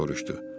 deyə soruştu.